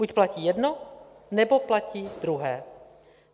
Buď platí jedno, nebo platí druhé.